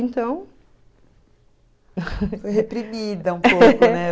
Então... Foi reprimida um pouco, né?